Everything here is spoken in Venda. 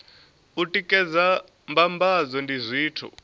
u tikedza mbambadzo ndi zwithu